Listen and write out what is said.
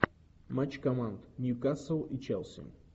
матч команд ньюкасл и челси